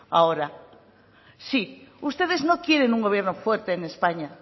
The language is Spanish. ahora sí ustedes no quieren un gobierno fuerte en españa